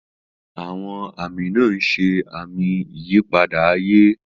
Àwọn àmì náà ń ṣe àmì ìyípadà ayé.